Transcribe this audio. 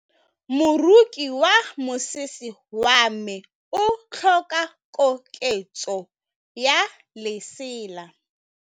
Moroki wa mosese wa me o tlhoka koketsô ya lesela.